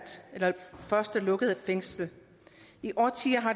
så